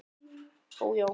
Ó, já.